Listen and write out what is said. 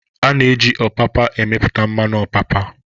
A na-eji Ọpapa emepụta mmanụ ọpapa